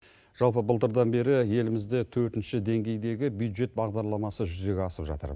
жалпы былтырдан бері елімізде төртінші денгейдегі бюджет бағдарламасы жүзеге асып жатыр